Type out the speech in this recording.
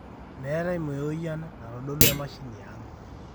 meetae meoyian naitodolua emashini aang